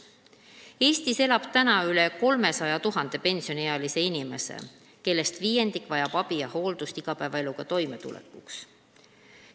Eestis elab üle 300 000 pensioniealise inimese, kellest viiendik vajab igapäevaeluga toimetulekuks abi ja hooldust.